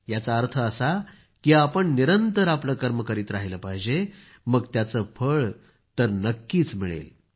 याचा अर्थ असा की आपण निरंतर आपलं कर्म करीत राहिलं पाहिजे मग त्याचं फळ तर नक्कीच मिळेल